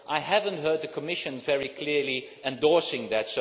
but I have not heard the Commission very clearly endorsing that.